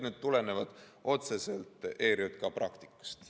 Need tulenevad otseselt ERJK praktikast.